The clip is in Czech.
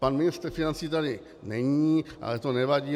Pan ministr financí tady není, ale to nevadí.